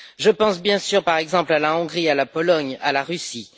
Je pense bien sûr, par exemple, à la Hongrie, à la Pologne et à la Russie.